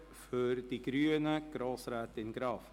Für die grüne Fraktion spricht Grossrätin Graf.